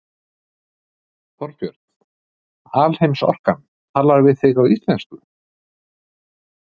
Þorbjörn: Alheimsorkan talar við þig á íslensku?